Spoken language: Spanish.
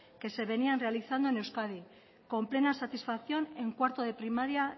que se venían realizando en euskadi con plena satisfacción en cuarto de primaria